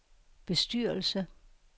bestyrelse